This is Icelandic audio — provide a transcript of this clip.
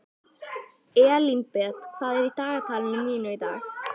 Elínbet, hvað er í dagatalinu mínu í dag?